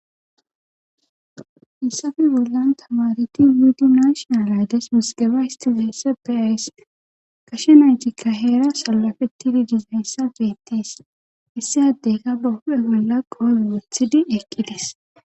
issappe bollan tamareti mudi nashional aydes musgeba histizeesse beyawys kashe naytikka heera salafetidi dizayssa beettes issi addeyka ba hu7e bolla qoole wuthidi eqqides